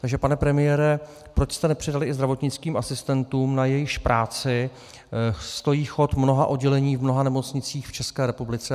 Takže pane premiére, proč jste nepřidali i zdravotnickým asistentům, na jejichž práci stojí chod mnoha oddělení v mnoha nemocnicích v České republice?